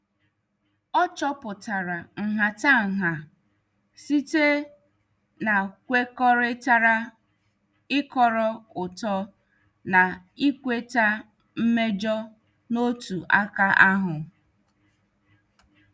Ọ chọpụtara nhatanha site n' kwekọrịtara ịkọrọ ụtọ na ikweta mmejọ n' ọtụ aka ahụ.